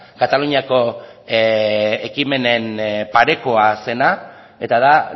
kataluniako ekimenen parekoa zena eta da